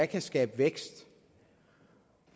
kan skabe vækst